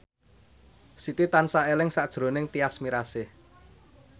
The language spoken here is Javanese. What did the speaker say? Siti tansah eling sakjroning Tyas Mirasih